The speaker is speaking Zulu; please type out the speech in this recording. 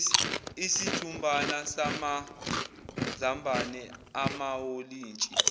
isijumbana samazambane amawolintshi